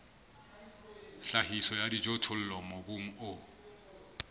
tlhahiso ya dijothollo mobung o